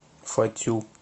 фатю